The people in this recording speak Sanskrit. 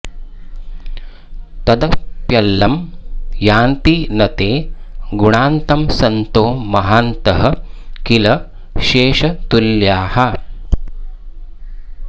तदप्यलं यान्ति न ते गुणान्तं सन्तो महान्तः किल शेषतुल्याः